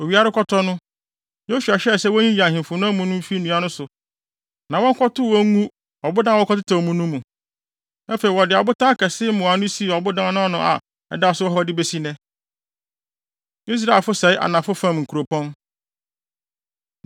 Owia rekɔtɔ no, Yosua hyɛɛ sɛ wonyiyi ahemfo no amu no mfi nnua no so na wɔnkɔtow wɔn ngu ɔbodan a wɔkɔtetɛw mu no mu. Afei, wɔde abotan akɛse mmoano sii ɔbodan no ano a ɛda so wɔ hɔ besi nnɛ. Israelfo Sɛe Anafo Fam Nkuropɔn